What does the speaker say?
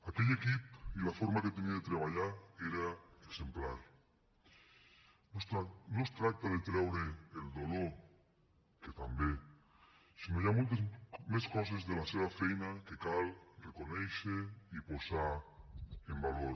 aquell equip i la forma que tenia de treballar era exemplar no es tracta de treure el dolor que també sinó que hi ha moltes més coses de la seva feina que cal reconèixer i posar en valor